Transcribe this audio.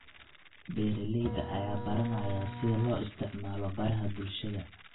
Beeralayda ayaa baranaya sida loo isticmaalo baraha bulshada.